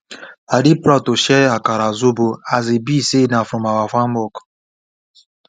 our local chairman tell the young people say make dem too dey farm so dat tradition no go die